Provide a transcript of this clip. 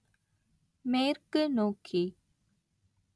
மேற்கு நோக்கி